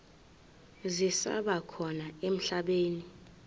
zisaba khona emhlabeni